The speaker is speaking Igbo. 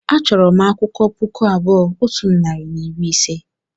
achọrọ m akwụkwọ puku abụọ otu narị na iri ise